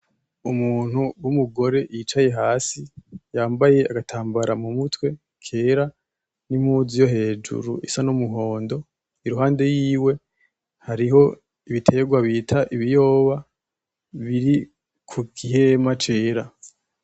Umuntu w’umugore yicaye hasi yambaye agatambara mumutwe kera , n’impuzu yo hejuru isa numuhondo , iruhande yiwe hariho ibiterwa bita ibiyoba biri kugihema cera .